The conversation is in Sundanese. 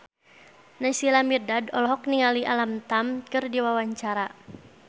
Naysila Mirdad olohok ningali Alam Tam keur diwawancara